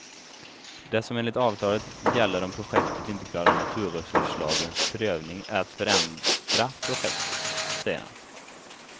Det som enligt avtalet gäller om projektet inte klarar naturresurslagens prövning är att förändra projektet, säger han.